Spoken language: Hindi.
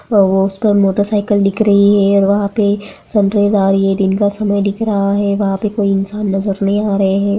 वो उस पर मोटरसाईकिल दिख रही है और वहां पे दिन का समय दिख रहा है वहां पे कोई इंसान नजर नहीं आ रहे है।